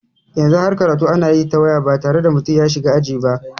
Yanzu har karatu ana yi ta waya ba tare da mutum ya shiga aji ba.